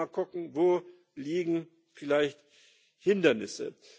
Also noch mal gucken Wo liegen vielleicht Hindernisse?